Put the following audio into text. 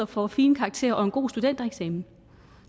får fine karakterer og en god studentereksamen